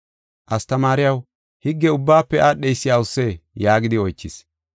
“Astamaariyaw, higge ubbaafe aadheysi awusee?” yaagidi oychis.